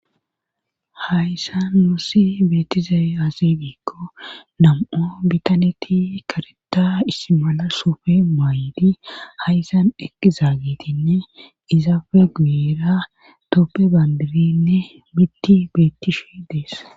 hayssa nuussi beetizey aasidiikko nam7o bitaneti kareta issmala suufe maaydi hayssan eqqizaagitinne izaafe guyera toppe bandirinne mitti beettish dees